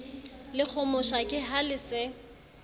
lekgomosha ke ha le se